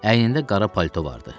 Əynində qara palto vardı.